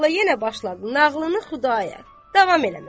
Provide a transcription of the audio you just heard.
və molla yenə başladı nağılını Xudayar davam eləməyə.